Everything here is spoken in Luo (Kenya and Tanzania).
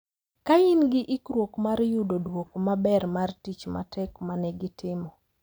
Ka gin gi ikruok mar yudo duoko maber mar tich matek ma ne gitimo.